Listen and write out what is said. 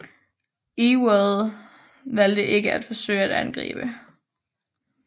Ewell valgte ikke at forsøge at angribe